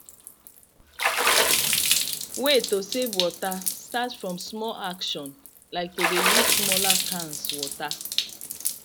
way to save water start from small action like to de use smaller cans water